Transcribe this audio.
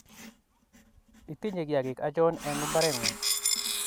Itinye kiyagiik achon en mpareng'ung'